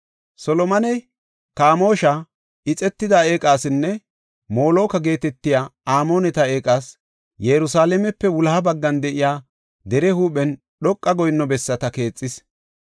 Solomoney Kamoosha ixetida eeqasinne Moloka geetetiya Amooneta eeqas Yerusalaamepe wuloha baggan de7iya dere huuphen dhoqa goyinno bessata keexis.